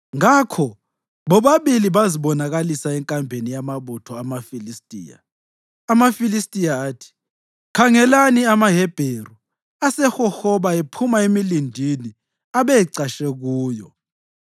Ngakho bobabili bazibonakalisa enkambeni yamabutho amaFilistiya. AmaFilistiya athi, “Khangelani, amaHebheru asehohoba ephuma emilindini abecatshe kuyo.”